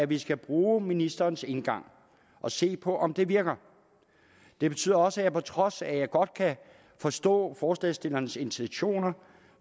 vi skal bruge ministerens indgang og se på om det virker det betyder også at jeg på trods af at jeg godt kan forstå forslagsstillernes intentioner